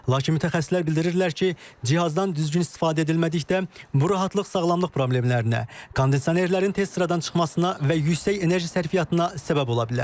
Lakin mütəxəssislər bildirirlər ki, cihazdan düzgün istifadə edilmədikdə bu rahatlıq sağlamlıq problemlərinə, kondisionerlərin tez sıradan çıxmasına və yüksək enerji sərfiyyatına səbəb ola bilər.